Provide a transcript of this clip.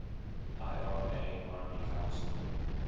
ira army council